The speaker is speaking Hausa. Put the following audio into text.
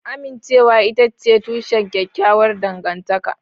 Amincewa ita ce tushen kyakkyawar dangantaka